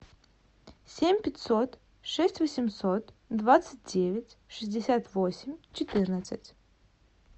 семь пятьсот шесть восемьсот двадцать девять шестьдесят восемь четырнадцать